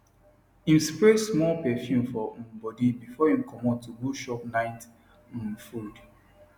im spray small perfume for um body before im comot to go chop night um food